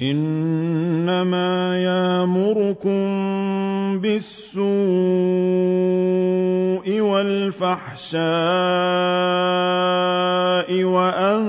إِنَّمَا يَأْمُرُكُم بِالسُّوءِ وَالْفَحْشَاءِ وَأَن